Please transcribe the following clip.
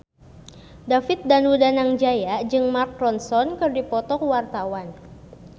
David Danu Danangjaya jeung Mark Ronson keur dipoto ku wartawan